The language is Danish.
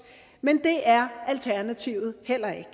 men det er alternativet heller ikke